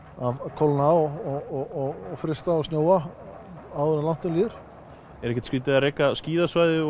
kólna og frysta og snjóa áður en langt um líður er ekkert skrítið að reka skíðasvæði